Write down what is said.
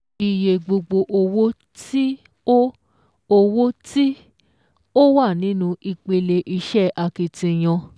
Iye gbogbo owó tí ó owó tí ó wà nínú ìpele iṣẹ́ akitiyan